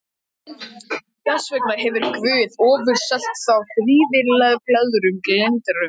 Þess vegna hefur Guð ofurselt þá svívirðilegum girndum.